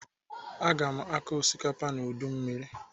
Aga m akọ osikapa n'udumiri..